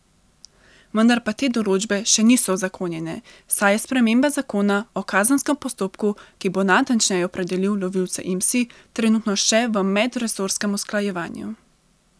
Vendar pa te določbe še niso uzakonjene, saj je sprememba zakona o kazenskem postopku, ki bo natančneje opredelil lovilce imsi, trenutno še v medresorskem usklajevanju.